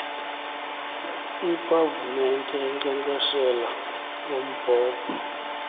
iipavumente enkcenkceshela ngombhobho